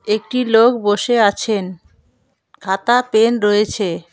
একটি লোক বসে আছেন খাতা পেন রয়েছে।